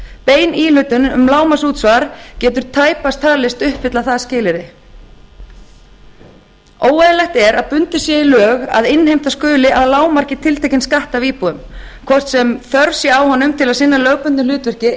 bein íhlutun um lágmarksútsvar getur tæpast talist uppfylla það skilyrði óeðlilegt er að bundið sé í lög að innheimta skuli að lágmarki tiltekinn skatt af íbúum hvort sem þörf sé á honum til að sinna lögbundnu hlutverki